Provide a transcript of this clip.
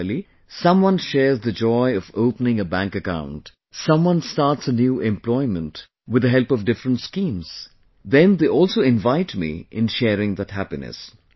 Similarly, someone shares the joy of opening a bank account, someone starts a new employment with the help of different schemes, then they also invite me in sharing that happiness